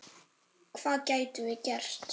Hvað gætum við gert?